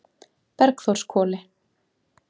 Bergþórshvoli